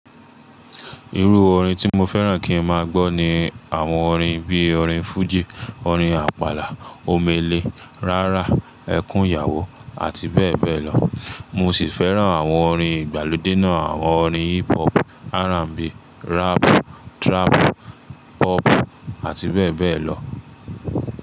Irú orin tí mo fẹ́ràn kí n máa gbọ́ ni àwọn orin bí i orin fújì, orin àpàlà, omele, rárá, ẹkún ìyàwó àti bẹ́ẹ̀ bẹ́ẹ̀ lọ. Mo sì fẹ́ràn àwọn orin ìgbàlódé náà àwọn orin hip hop, R&B, rap, trap, pop àti bẹ́ẹ̀ bẹ́ẹ̀ lọ.